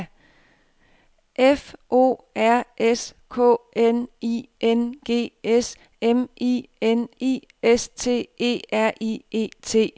F O R S K N I N G S M I N I S T E R I E T